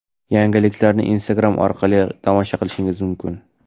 Yangiliklarni Instagram orqali tomosha qilishingiz mumkin.